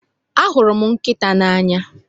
ahụrụ m nkịta n'anya